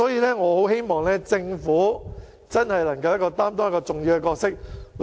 因此，我希望政府擔當更重要的角色。